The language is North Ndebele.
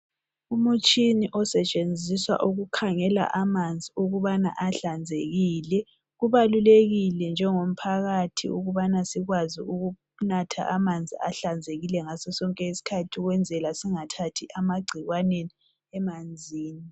Umtshini osetshenziswa ukukhangela amanzi ukubana ahlanzekile. Kubalulekile njengomphakathi ukubana sikwazi ukunatha amanzi, ahlanzekile ngaso sonke isikhathi. Ukwenzela singathathi amagcikwane emanzini.